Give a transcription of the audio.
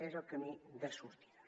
és el camí de sortida